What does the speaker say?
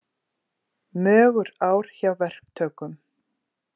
Mögur ár hjá verktökum